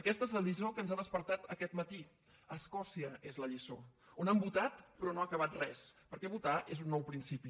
aquesta és la lliçó que ens ha despertat aquest matí escòcia és la lliçó on han votat però no ha acabat res perquè votar és un nou principi